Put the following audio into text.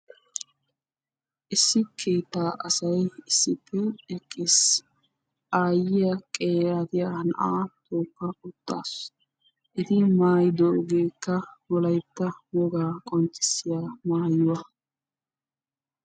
Issi keettaa asay issippe eqqiis. Aayyiya qeeratiyaa na'aa tookka uttaassu. Eti maayidoogekka wolaytta wogaa qonccissiyaa maayuwaa.